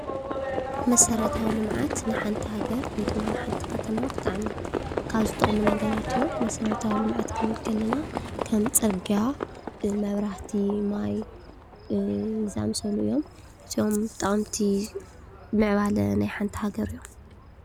መሰረታዊ ልምዓት ንሓንቲ ሃገር ወይ ድማ ንሓንቲ ከተማ ብጣዕሚ ካብ ዝጠቕሙ ነገራት እዮም። መሰረታዊ ልምዓት ክንብል ከለና ከም ፅርግያ፣ መብራህቲ ፣ማይ ዝኣመሰሉ እዮም እዚኦም ጠቐምቲ ምዕባለ ናይ ሓንቲ ሃገር እዮም።